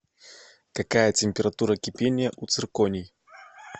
какая температура кипения у цирконий